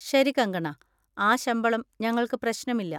ശരി, കങ്കണ, ആ ശമ്പളം ഞങ്ങൾക്ക് പ്രശ്നമില്ല.